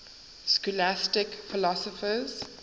scholastic philosophers